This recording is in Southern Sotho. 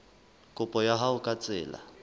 kopo ya hao ka tsela